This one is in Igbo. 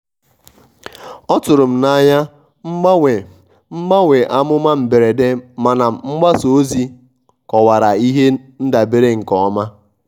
ọtụrụ m n'anya mgbanwe mgbanwe amụma mberede mana mgbasa ozi kọwara ihe ndabere nke ọma.